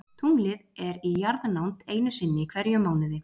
Tunglið er í jarðnánd einu sinni í hverjum mánuði.